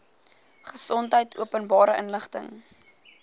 gesondheid openbare inligting